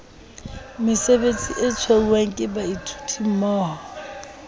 mesebetsing e tshwauwang ke baithutimmoho